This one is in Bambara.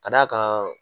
Ka d'a kan